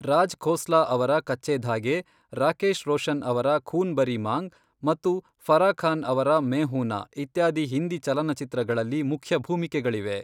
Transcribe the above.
ರಾಜ್ ಖೋಸ್ಲಾ ಅವರ ಕಚ್ಚೆ ಧಾಗೆ, ರಾಕೇಶ್ ರೋಷನ್ ಅವರ ಖೂನ್ ಭರಿ ಮಾಂಗ್ ಮತ್ತು ಫರಾ ಖಾನ್ ಅವರ ಮೈ ಹೂನ್ ನಾ ಇತ್ಯಾದಿ ಹಿಂದಿ ಚಲನಚಿತ್ರಗಳಲ್ಲಿ ಮುಖ್ಯ ಭೂಮಿಕೆಗಳಿವೆ.